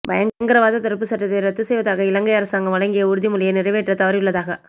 பயங்கரவாத தடுப்புச் சட்டத்தை இரத்துச் செய்வதாக இலங்கை அரசாங்கம் வழங்கிய உறுதிமொழியை நிறைவேற்ற தவறியுள்ளதாக